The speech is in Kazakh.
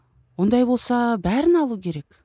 ондай болса бәрін алу керек